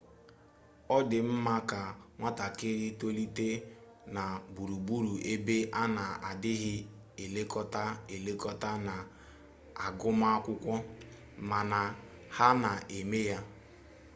ọ dị mma ka nwatakịrị tolite na gburugburu ebe a na-adịghị elekọta elekọta na agụmakwụkwọ mana ha na-eme ya